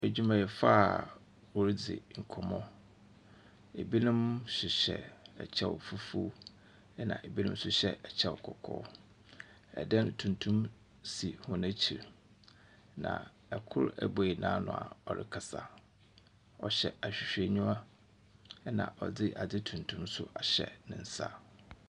Adwumayɛfo a w'ɔrede nkɔmmɔ. Ebinom hyehyɛ ɛkyɛw fufuo. Ɛna ebinom hyehyɛ ɛkyɛw kɔkɔɔ. ɛdan tumtum bi si wɔn akyire. Na ɛkoro abue n'ano a ɔkasa. Ɔhyɛ ahwehwɛniwa ɛna ɔde ade tumtum nso ahyɛ nensa.